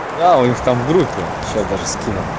да у них там в группе сейчас даже скину